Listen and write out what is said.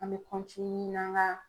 An bɛ n'an ga